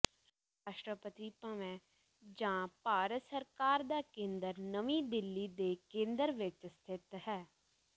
ਰਾਸ਼ਟਰਪਤੀ ਭਵੈ ਜਾਂ ਭਾਰਤ ਸਰਕਾਰ ਦਾ ਕੇਂਦਰ ਨਵੀਂ ਦਿੱਲੀ ਦੇ ਕੇਂਦਰ ਵਿਚ ਸਥਿਤ ਹੈ